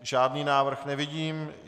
Žádný návrh nevidím.